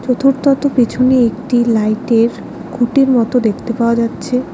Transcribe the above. তত পেছনে একটি লাইট -এর খুঁটির মতো দেখতে পাওয়া যাচ্ছে।